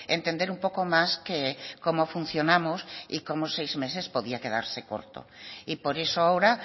entender un poco más que cómo funcionamos y cómo seis meses podía quedarse corto y por eso ahora